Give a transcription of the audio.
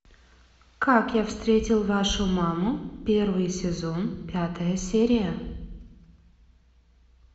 как я встретил вашу маму первый сезон пятая серия